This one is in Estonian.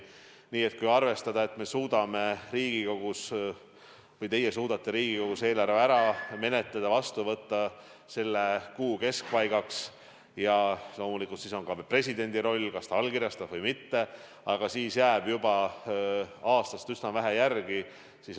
Nii et kui arvestada, et te suudate Riigikogus eelarve ära menetleda ja selle vastu võtta selle kuu keskpaigaks – loomulikult on veel ka presidendi roll, kas ta allkirjastab seaduse või mitte –, siis jääb juba aastat üsna vähe järele.